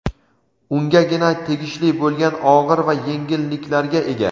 ungagina tegishli bo‘lgan og‘ir va yengilliklarga ega.